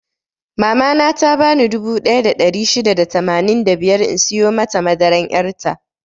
Mama na ta bani dubu ɗaya da ɗari shida da tamanin da biyar in siyo mata madaran yar' ta.